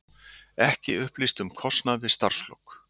Ekki upplýst um kostnað við starfslok